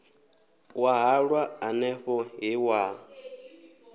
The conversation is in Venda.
wa halwa hanefho he wa